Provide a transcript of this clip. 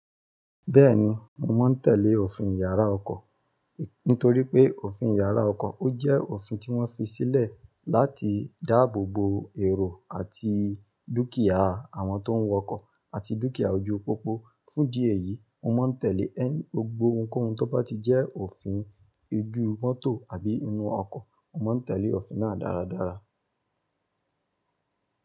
Bẹ́ẹ̀ni, mo máa ń tẹ̀lé òfin yàrá ọkọ̀, nítorí pé òfin yàrá ọkọ̀ ó jẹ́ òfin tí wọ́n fi sílẹ̀ láti dáàbò bo èrò àti dúkìá àwọn tó ń wọ ọkọ̀ àti dúkìá ojúu pópó. Fún idi eyi, mo máa ń tẹ̀lé ẹni-- gbogbo ohunkóhun tó bá ti jẹ́ òfin ojú mọ́tò àbí inú ọkọ̀, mo máa ń tẹ̀lé òfin náà dáradára.